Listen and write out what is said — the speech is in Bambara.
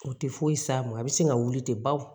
O tɛ foyi s'a ma a bɛ sin ka wuli ten baw